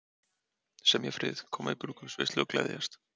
Semja frið, koma í brúðkaupsveislu og gleðjast.